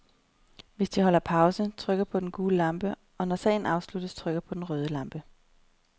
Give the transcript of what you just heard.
Hvis de holder pause, trykker de på den gule lampe, og når sagen afsluttes, trykker de på den røde lampe.